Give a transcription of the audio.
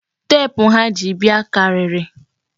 Teepu ha ji bịa karịrị.